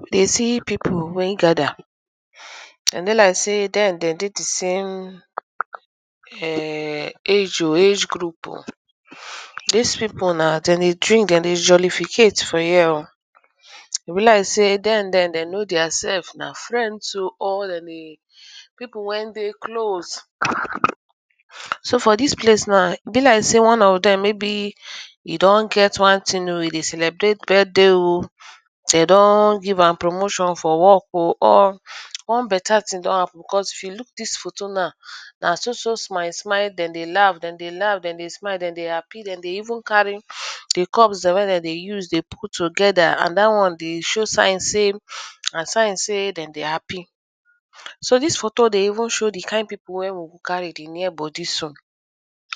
We dey see pipu wey gather, den dey like sey den dey di came age group o, dis pipu na dem be two den dey jpllificat for here o, e be like sey den dem know their sef na dem be pipu wen dey close so for dis place na e be like sey oe of dem e don get wan thing e dey celebrate birthday o den don give am promotion or one beta thing don happen because if yu look dis photo now, den dey laugh den day happy den dey even carry di cups den wen dey use dey put together and dat won dey show sign sey den dey happy. So dis photo show sey di kind pipu wey e carry near bodi so,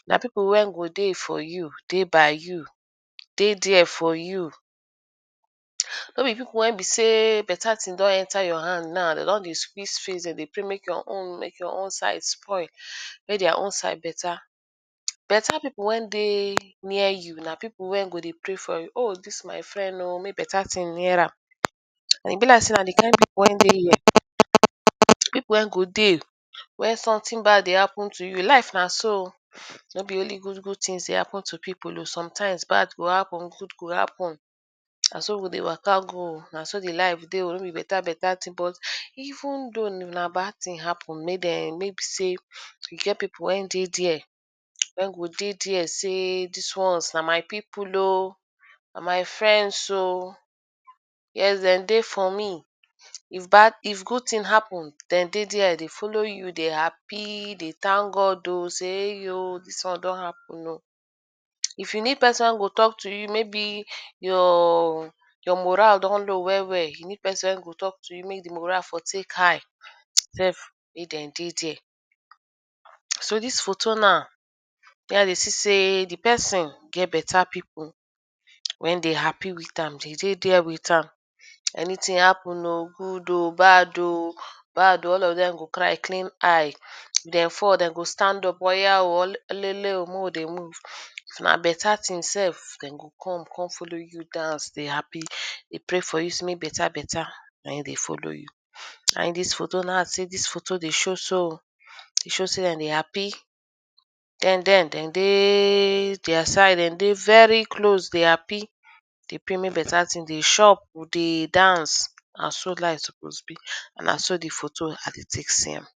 na pipu wen go dey for you dey by you, dey there for you no be pipu wen be sey beta thing dfon enter your hand na de don dey sqeeze face den dey pray mek you own mek your own side spoil mek their own beta. Beta pipu wen dey ner you na pipu wen go dey ray for you o dis my friend o mek beta thing near ram but e be like sey na di kind go dey wen something bad dey happen to yhou klife na so nor be only ghood good things dey happen to pipu sometimes bad go happen good go happen na so di life dey o no be beta beta thing but ven though na bad thing happen mqaybe eh e get pipu wen dey there wen go de there sey dis wons na my pipu o na my friend o wen den dey for me if good thing happen, den dey there dey follow you dey happy dey thank God sey dis won don happen o. if you need pesin wey go talk to you maybe you mopral do go well wellyou need pesin wey go talk to you mey di moral for tey high, den dey for you. So dis photo naw show sey di pesin et beta pipu wen dey happy with am den dey there with am anything happen o good o bad o all of dem go cry clean eye, den fall den go stand up oya o allele o mey we dey move. If na beta thing self den go come come follow dey happy dey pray sey beta beta dey follw you. Na in dis photo dey show sey de dey happy dem dey dey their side den dey very close deyy happy de pray mek beta thing dey chop dey dance na so life suppose be na so di photo be as de tek see am.